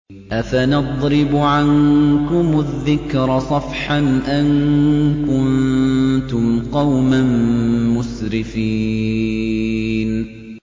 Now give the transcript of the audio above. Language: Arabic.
أَفَنَضْرِبُ عَنكُمُ الذِّكْرَ صَفْحًا أَن كُنتُمْ قَوْمًا مُّسْرِفِينَ